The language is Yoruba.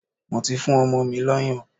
Mo ti fún ọmọ mi lọ́yàn.